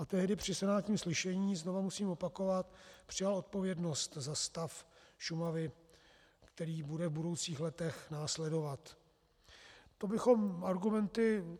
A tehdy při senátním slyšení, znovu musím opakovat, přijal odpovědnost za stav Šumavy, který bude v budoucích letech následovat.